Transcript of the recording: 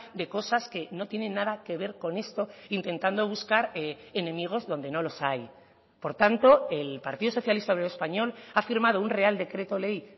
de cosas que no tienen nada que ver con esto intentando buscar enemigos donde no los hay por tanto el partido socialista obrero español ha firmado un real decreto ley